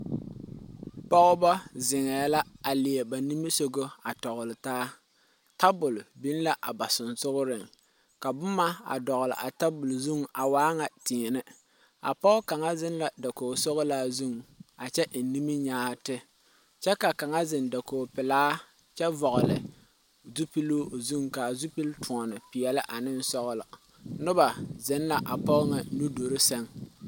pɔgeba zeŋɛ la a leɛ ba nimisɔgɔ a kyaare taa tabol biŋ la.a ba sensogɔŋ ka boma a doɔli a tabol zʋŋ a waa ŋa tenne a pɔge kaŋa zeŋ la dakogi sɔlaa zʋŋ a kyɛ eŋ nimi nyaate kyɛ kaŋa zeŋ dakogi pelaa kyɛ vɔgeli zupili o zʋŋ ka a zupili toɔne pɛɛle ane sɔglɔ Noba zeŋ la a pɔge ŋa nuduuri seŋ.